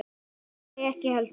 Nei, ekki heldur.